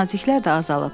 Naziklər də azalıb.